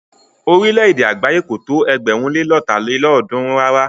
Orílẹ̀-èdè àgbáyé kò tó ẹgbẹ̀rún lé lọ́ta lélọ́ọ̀dúnrún rárá.